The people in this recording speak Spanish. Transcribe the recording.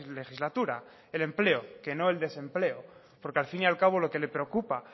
legislatura el empleo que no el desempleo porque al fin y al cabo lo que le preocupa